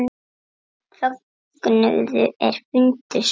Fögnuðu er fundu svar.